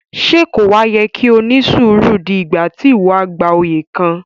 Ṣe ko wa yẹ ki o ni suru dé ìgbà ti iwọ a gbà oyè kàn?